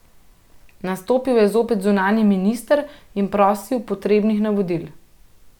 Nastopil je zopet zunanji minister in prosil potrebnih navodil.